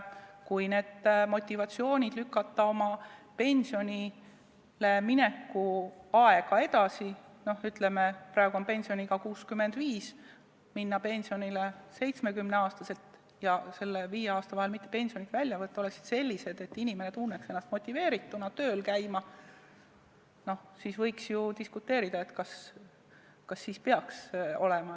Kui lükata oma pensionile mineku aega edasi ja kui see motivatsioon oleks selline, et inimene tunneks ennast motiveerituna tööl käima, siis võiks ju diskuteerida, kas siis peaks see nii olema.